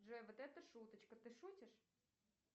джой вот это шуточка ты шутишь